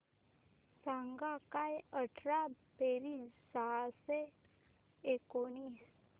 सांग काय अठरा बेरीज सहाशे एकोणीस